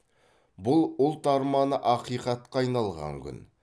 бұл ұлт арманы ақиқатқа айналған күн